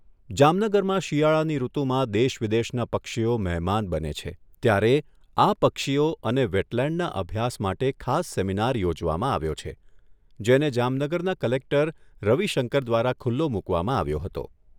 જામનગરમાં શિયાળાની ઋતુમાં દેશવિદેશના પક્ષીઓ મહેમાન બને છે ત્યારે આ પક્ષીઓ અને વેટલેન્ડના અભ્યાસ માટે ખાસ સેમિનાર યોજવામાં આવ્યો છે જેને જામનગરના કલેક્ટર રવિશંકર દ્વારા ખુલ્લો મુકવામાં આવ્યો હતો.